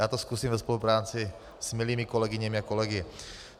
Já to zkusím ve spolupráci s milými kolegyněmi a kolegy.